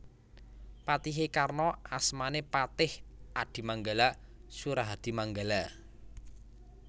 Patihé Karna asmané Patih Adimanggala Surahadimanggala